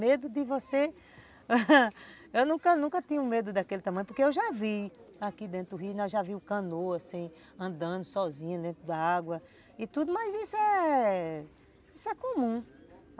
Medo de você... Eu nunca nunca tinha medo daquele tamanho, porque eu já vi aqui dentro do rio, nós já vimos canoas assim, andando sozinhas dentro da água e tudo, mas isso é... Isso é comum.